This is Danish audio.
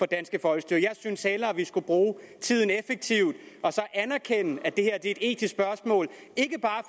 danske folkestyre jeg synes hellere vi skulle bruge tiden effektivt og anerkende at det her er et etisk spørgsmål ikke bare